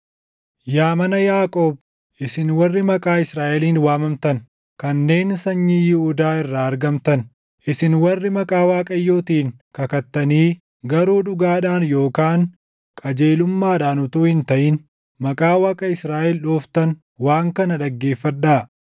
“Yaa mana Yaaqoob, isin warri maqaa Israaʼeliin waamamtan, kanneen sanyii Yihuudaa irraa argamtan, isin warri maqaa Waaqayyootiin kakattanii garuu dhugaadhaan yookaan qajeelummaadhaan utuu hin taʼin maqaa Waaqa Israaʼel dhooftan waan kana dhaggeeffadhaa;